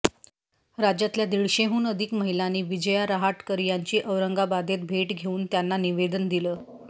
राज्यातल्या दीडशेहून अधिक महिलांनी विजया रहाटकर यांची औरंगाबादेत भेट घेऊन त्यांना निवेदन दिलं